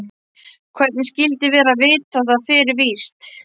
Hvernig skyldi vera að vita það fyrir víst.